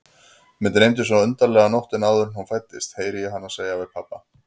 Mig dreymdi svo undarlega nóttina áður en hún fæddist, heyri ég hana segja við pabba.